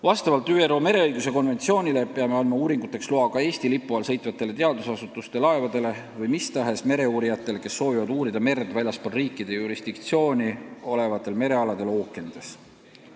Vastavalt ÜRO mereõiguse konventsioonile peame andma uuringuteks loa ka Eesti lipu all sõitvatele teadusasutuste laevadele ning mis tahes mereuurijatele, kes soovivad uurida merd väljaspool riikide jurisdiktsiooni olevatel merealadel ookeanides.